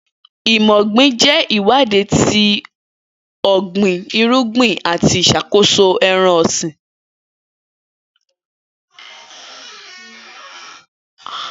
Imọ ogbin jẹ iwadi ti ogbin irugbin, ati iṣakoso ẹran-ọsin.